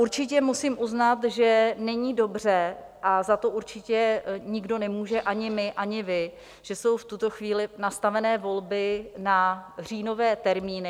Určitě musím uznat, že není dobře, a za to určitě nikdo nemůže, ani my, ani vy, že jsou v tuto chvíli nastavené volby na říjnové termíny.